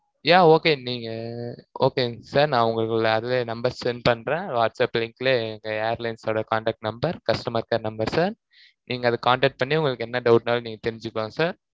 yeah okay நீங்க okay ங்க sir நான் உங்களுக்குள்ள அதுவே number send பண்றேன். whatsapp link ல, எங்க airlines ஓட contact number customer care number sir நீங்க அதை contact பண்ணி, உங்களுக்கு என்ன doubt னாலும் நீங்க தெரிஞ்சிக்கோங்க sir